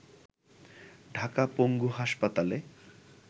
ঢাকা পঙ্গু হাসপাতালে